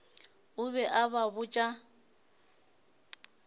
o be a ba botša